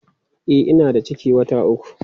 E, ina da ciki wata uku.